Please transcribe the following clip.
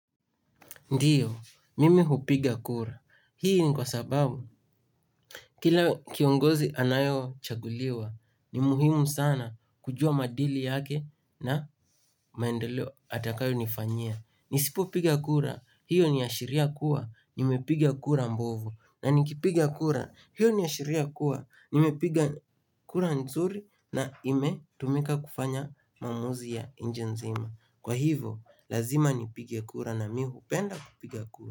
Ndiyo, mimi hupiga kura. Hii ni kwa sababu, kila kiongozi anayochaguliwa, ni muhimu sana kujua maadili yake na maendeleo atakayo nifanyia. Nisipo piga kura, hiyo ni ashiria kuwa, nimepiga kura mbovu. Na nikipiga kura, hiyo ni ashiria kuwa, nimepiga kura nzuri na imetumika kufanya maamuzi ya inchi nzima. Kwa hivo, lazima nipige kura na mi hupenda kupiga kura.